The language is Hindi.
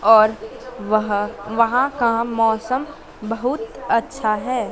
और वहां वहां का मौसम बहुत अच्छा है।